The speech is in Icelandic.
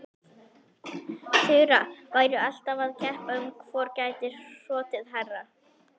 Þura væru alltaf að keppa um hvor gæti hrotið hærra.